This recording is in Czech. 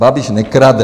Babiš nekrade.